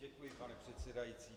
Děkuji, pane předsedající.